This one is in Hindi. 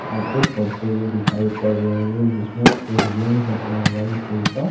आपको पढ़ते हुए दिखाई पड़ रहे होंगे जिसमे एक जेंस अपना मोबाइल खोलता --